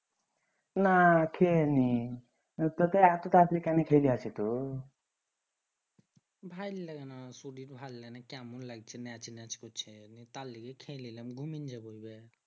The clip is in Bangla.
না খেয়ে নি খেয়ে দেয় আছে তো ভাল লাগেনা শরীর ভাল লাগেনা কেমন লাগছে নেচ নেচ করছে তার লেগে খেয়ে লিলাম ঘুমিন যাবো এবার